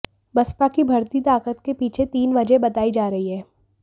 बसपा की बढ़ती ताकत के पीछे तीन वजहें बताई जा रही हैं